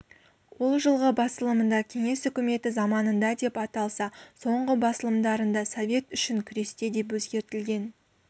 ол жылғы басылымында кеңес үкіметі заманында деп аталса соңғы басылымдарында совет үшін күресте деп өзгертілген